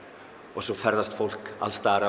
og svo ferðast fólk alls staðar